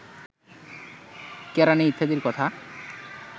কেরাণী ইত্যাদির কথা